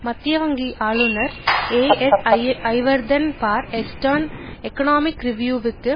மத்திய வங்கி ஆளுனர் ஏஎஸ்ஜயவர்தன பார் ஈஸ்டர்ண் இக்கொனொமிக் றிவியூ வுக்கு